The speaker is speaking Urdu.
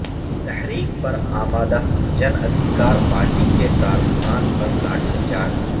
تحریک پر امادہ جن ادھیکار پارٹی کے کارکنان پر لاٹھی چارج